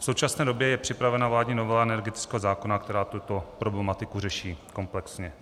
V současné době je připravena vládní novela energetického zákona, která tuto problematiku řeší komplexně.